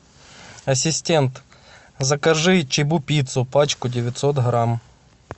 ассистент закажи чибупиццу пачку девятьсот грамм